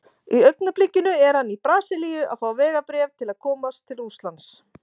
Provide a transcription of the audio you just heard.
Í augnablikinu er hann í Brasilíu að fá vegabréf til að komast til Rússlands.